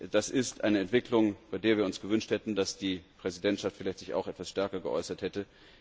Das ist eine Entwicklung, bei der wir uns gewünscht hätten, dass sich die Präsidentschaft vielleicht etwas stärker geäußert hätte.